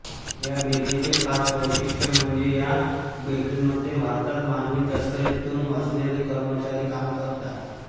या बेकरीचे खास वैशिष्ट्य म्हणजे या बेकरीमध्ये भारतात मानवी तस्करी तुन वाचलेले कर्मचारी काम करतात